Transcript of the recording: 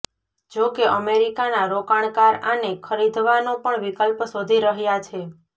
જો કે અમેરિકાના રોકાણકાર આને ખરીધવાનો પણ વિકલ્પ શોધી રહ્યા છે